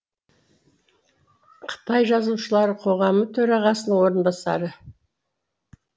қытай жазушылар қоғамы төрағасының орынбасары